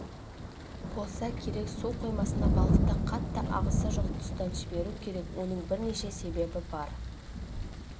болса керек су қоймасына балықты қатты ағысы жоқ тұстан жіберу керек оның бірнеше себебі бар